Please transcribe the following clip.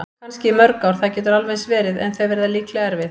Kannski í mörg ár, það getur alveg eins verið- en þau verða líklega erfið.